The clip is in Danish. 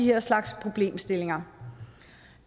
her slags problemstillinger